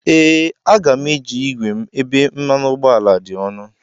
Ee, Aga m eji igwe m ebe mmanụ ụgbọala dị ọnụ.